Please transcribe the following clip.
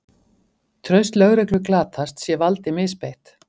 Traust lögreglu glatast sé valdi misbeitt